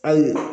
Hali